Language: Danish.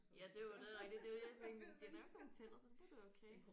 Ja det er jo det er rigtigt det er det jeg tænker de har ikke nogle tænder så det burde være okay